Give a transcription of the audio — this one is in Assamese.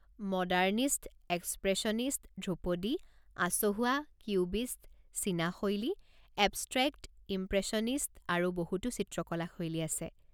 মডাৰ্নিষ্ট, এক্সপ্ৰেছনিষ্ট, ধ্ৰুপদী, আচহুৱা, কিউবিষ্ট, চীনা শৈলী, এবষ্ট্ৰেক্ট, ইমপ্ৰেছনিষ্ট আৰু বহুতো চিত্ৰকলা শৈলী আছে।